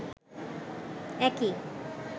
একই